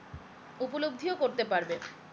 উপলব্ধিও করতে পারবে